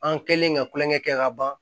An kɛlen ka kulonkɛ kɛ ka ban